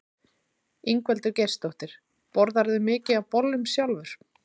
Ingveldur Geirsdóttir: Borðarðu mikið af bollum sjálfur?